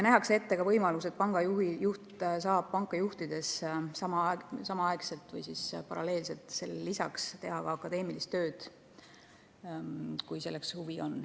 Nähakse ette ka võimalus, et panga juht saab panka juhtides samaaegselt või paralleelselt teha ka akadeemilist tööd, kui selleks on huvi.